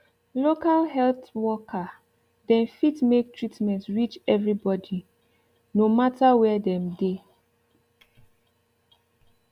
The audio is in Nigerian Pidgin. local health worker dem fit make treatment reach everi bodi no mata were dem dey